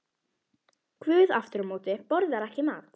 Guð aftur á móti borðar ekki mat.